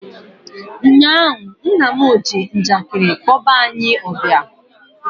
ụnyaahụ, nna m ji njakịrị kpọba anyị ọbịa